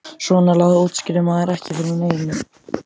Svona lagað útskýrði maður ekki fyrir neinum.